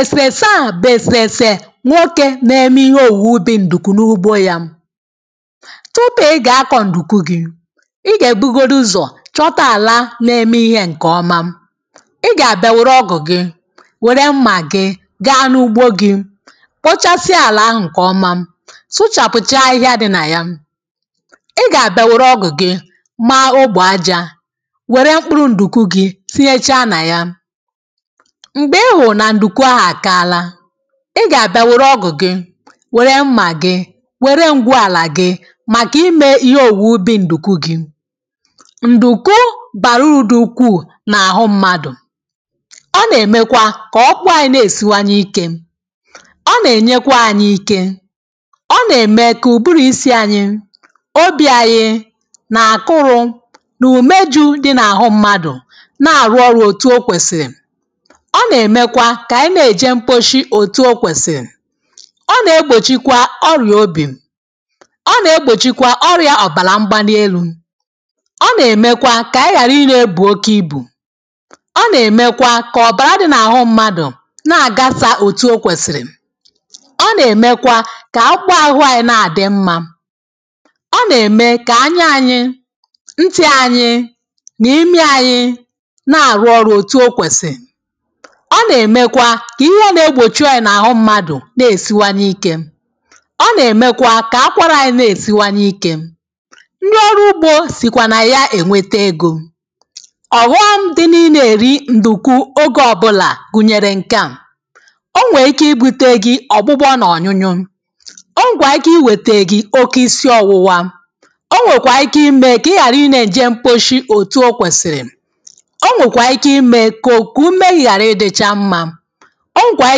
Èsèèsè, a bụ̀ èsèèsè nwokē na-eme ihe òwùwè ubì ǹdùkwù n’ugbo yā. Tụpụ ị gà akọ̀ ǹdùkwù gị, ị gà ebugodu ụzọ̀ chọta àla na-eme ihē ǹkèọma. ị gà àbịa wère ọgụ̀ gị, wère mmà gị, gaa n’ugbȯ gị, kpochasịa àlà ahụ̀ ǹkèọma, sụchàpụ̀cha ahịhịa dị̇ nà ya. I gà àbịa wère ọgụ̀ gị, maa ogbò ajā, wère mkpụrụ ǹdùkwù gị sinyecha nà ya. M̀gbè ị hụ̀ nà ǹdùkwù ahù àkala, ị gà-àbịa wère ọgụ̀ gị, wère mmà gị, wère ǹgwụàlà gị, màkà imē ihe òwùwè ubì ǹdùkwù gị. Ǹdùkwù bàrà urù dị ukwuù n’àhụ mmadụ̀. Ọ nà-èmekwa kà ọkpụkpụ anyị na-èsiwanye ikē. Ọ nà-ènyekwa anyị ike, ọ nà-ème kà ùburù isi anyị, obì anyị, nà-àkụrụ̇ nù umeju̇ dị̇ n’àhụ mmadụ̀ na arụ ọrụ otu e kwesi. Ọ nà-èmekwa kà ànyị na-èje mkposhi òtù okwèsìrì. Ọ̀ nà-egbòchikwa ọrìà obì. Ọ̀ nà-egbòchikwa ọrìà ọ̀bàlà mbanelù, ọ nà-èmekwa kà ànyị ghàra inyē bù oke ibù. Ọ nà-èmekwa kà ọ̀bàrà dị n’àhụ mmadụ̀ na-àgasà òtù okwèsìrì. Ọ̀ nà-èmekwa kà akpụkpụ ahụ̇ anyị na-àdị mmā. Ọ nà-ème kà anya anyị, ntị anyị nà imi anyị, na arụ ọrụ otuo kwesị. Ọ na-emekwa ka ihe na-egbochi ọyà na-ahụ mmadụ̀ na-esiwanye ikē. Ọ̀ na-emekwa ka akwarà anyị na-esiwanye ikē. Ndị ọrụ ugbȯ sìkwà na yā ènwete egȯ. Ọ̀wọm dị n’inē èri ǹdùkwù ogē ọbụlà, gùnyèrè ǹkeà. Ọ nwèrè ike ibùtē gị ọ̀gbụgbọ n’ọ̀nyụnyụ, o nwèrè ike iwete gị oke isi ọwụwa, o nwèkwà ike imē kà ị ghàrị ị na-ènje mkposhi òtù o kwèsìrì, o nwèkwà ike imē kà ọnụ gị hari ịdịcha mma. Ọ nwekwara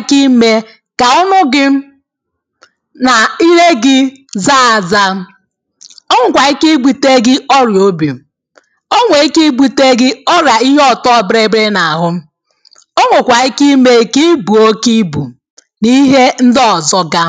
ike ime ka ọnụ gị nà ile gị zaa àzà. Ọ nwèkwà ike ibùtē gị ọrịà obì. Ọ nwèrè ike ibùtē gị ọrìà ihe ọ̀tọbịrịbịrị nà àhụ. O nwèkwà ike imē kà ị bùo oke ibù nà ihe ndị ọ̀zọ ga.